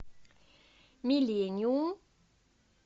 миллениум